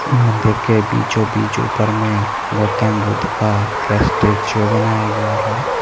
मंदिर के बीचो-बिच उपर में गौतम बुद्ध का स्टैचू बनाया गया है।